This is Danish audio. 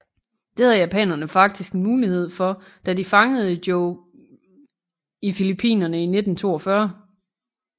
Det havde japanerne faktisk en mulighed for da de fangede Joe Kieyoomia i Filippinerne i 1942